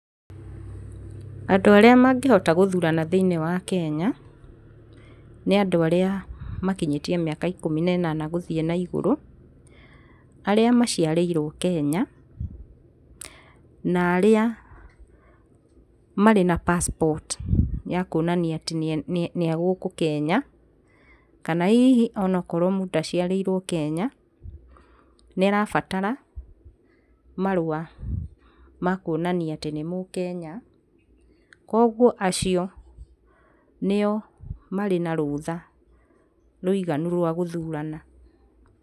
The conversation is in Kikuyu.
Andũ arĩa mangĩhota gũthurana thĩiniĩ wa Kenya, nĩ andũ arĩa makinyĩtie mĩaka ikũmi na ĩnana gũthiĩ na igũrũ, arĩa maciarĩirwo Kenya, na arĩa marĩ na passport ya kuonania atĩ nĩ agũkũ Kenya, kana hihi onokorwo mũndũ ndaciarĩirwo gũkũ Kenya nĩarabatara marũa ma kuonania atĩ nĩ Mũkenya, kwoguo acio nĩo marĩ na rũtha rũiganu rwa gũthurana.